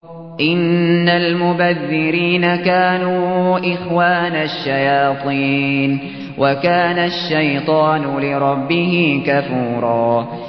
إِنَّ الْمُبَذِّرِينَ كَانُوا إِخْوَانَ الشَّيَاطِينِ ۖ وَكَانَ الشَّيْطَانُ لِرَبِّهِ كَفُورًا